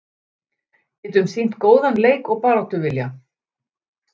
Getum sýnt góðan leik og baráttuvilja